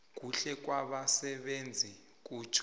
kuhle kwabasebenzi kutjho